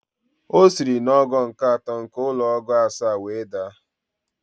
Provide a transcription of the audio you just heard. O siri n'ogo nke atọ nke ụlọ ogo asaa were daa